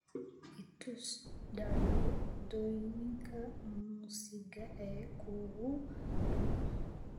i tus dhacdooyinka muusiga ee kuugu dhow